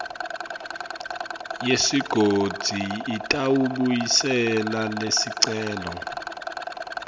yesigodzi itawubuyisela lesicelo